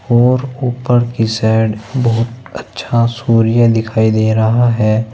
और ऊपर की साइड बहुत अच्छा सूर्य दिखाई दे रहा है।